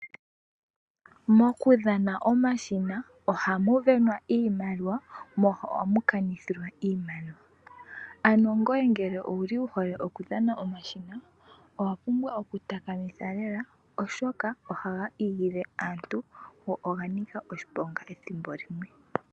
Moku dhana omashina oha mu venwa iimaliwa mo ohamu kanithilwa iimaliwa. Ano ngoye ngele owuli wu hole oku dhana omashina owa pumbwa oku takamitha lela oshoka oha ga igilile aantu, go oga nika oshiponga ethimbo limwe.